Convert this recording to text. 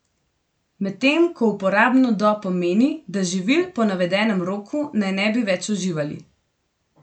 Medtem ko uporabno do pomeni, da živil po navedenem roku naj ne bi več uživali.